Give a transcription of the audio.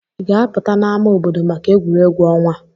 Ị ga-apụta n'ámá obodo maka egwuregwu ọnwa?